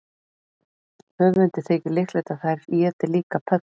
Höfundi þykir líklegt að þær éti líka pöddur.